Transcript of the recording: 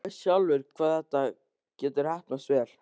Þú veist sjálfur hvað þetta getur heppnast vel.